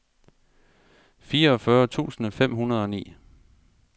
fireogfyrre tusind fem hundrede og ni